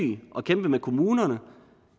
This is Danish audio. og kæmpe med kommunerne